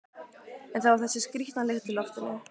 En það var þessi skrýtna lykt í loftinu.